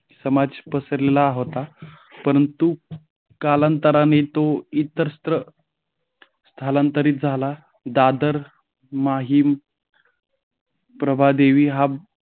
समाज असलेला होता. परंतु कालांतराने तो इतरत्र स्थलांतरित. झाला दादर माहीम प्रभादेवी हा